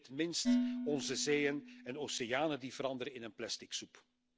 Niet in het minst onze zeeën en oceanen, die veranderen in een plastic soep.